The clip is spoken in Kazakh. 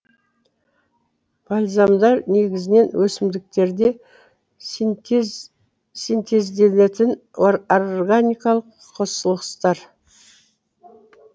бальзамдар негізінен өсімдіктерде синтезделетін органикалық қосылыстар